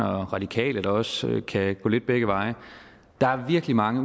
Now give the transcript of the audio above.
radikale der også kan gå lidt begge veje der er virkelig mange